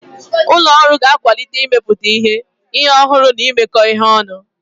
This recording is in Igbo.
Ụlọ ọrụ ga-akwalite mmepụta ihe, ihe ọhụrụ na imekọ ihe ọnụ.